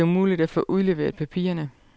Det er umuligt at få udleveret papirerne.